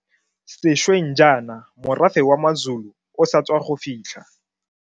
Sešweng jaana morafe wa maZulu o sa tswa go fitlha.